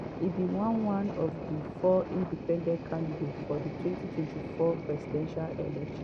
e be one one of di four independent candidates for di 2024 presidential election.